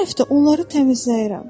Hər həftə onları təmizləyirəm.